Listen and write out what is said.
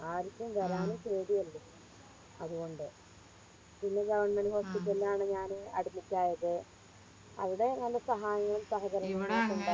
ആരിക്കും വരാനും പേടിയല്ലേ അതുകൊണ്ട് പിന്നെ Government hospital ആണ് ഞാന് Admit ആയത് അവിടെ നല്ല സഹായങ്ങളും സഹകരങ്ങളും ഒക്കെ